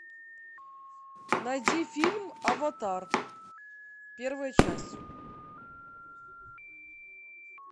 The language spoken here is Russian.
найди фильм аватар первая часть